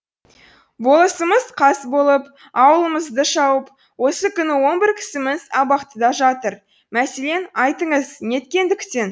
болысымыз қас болып ауылымызды шауып осы күні он бір кісіміз абақтыда жатыр мәселен айтыңыз неткендіктен